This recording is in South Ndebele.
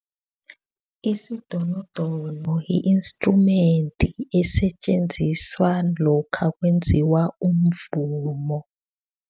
Isidonodono yi-instrument esetjenziswa lokha kwenziwa umvumo.